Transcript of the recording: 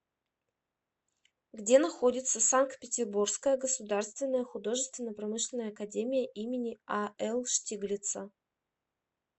где находится санкт петербургская государственная художественно промышленная академия им ал штиглица